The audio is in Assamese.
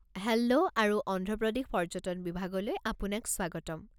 হেল্ল' আৰু অন্ধ্ৰ প্ৰদেশ পৰ্য্যটন বিভাগলৈ আপোনাক স্বাগতম।